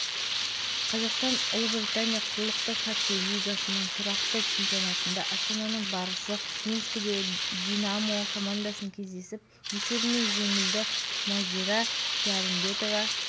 түседі уақыт талап етіп отырған осы мәселелерді президент өз үндеуінде айтып берді мұны біз қолдаймыз